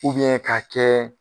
ka kɛ.